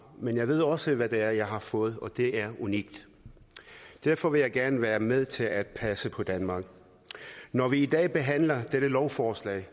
men jeg ved også hvad det er jeg har fået og det er unikt derfor vil jeg gerne være med til at passe på danmark når vi i dag behandler dette lovforslag